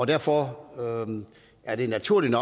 derfor er det naturligt